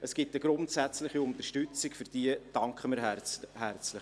Es gibt eine grundsätzliche Unterstützung, und für diese danken wir herzlich.